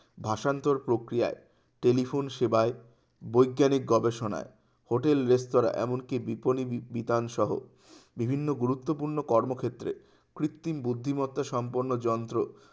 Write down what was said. ভাষান্তর প্রক্রিয়ায় telephone সেবায় বৈজ্ঞানিক গবেষণায় hotel রেস্তোরা এমনকি বিজ্ঞানী বি~বিতান সহ বিভিন্ন গুরুত্বপূর্ণ কর্মক্ষেত্রে কৃত্রিম বুদ্ধিমত্তা সম্পন্ন যন্ত্র